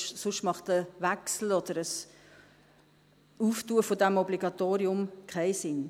Sonst macht ein Wechsel oder ein Öffnen dieses Obligatoriums keinen Sinn.